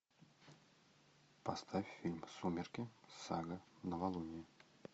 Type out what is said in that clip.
поставь фильм сумерки сага новолуние